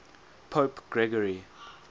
pope gregory